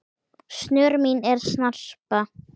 snör mín en snarpa